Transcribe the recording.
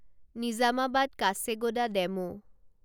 Nizamabad Kacheguda DEMU